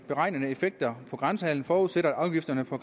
beregnede effekter på grænsehandlen forudsætter at afgifterne på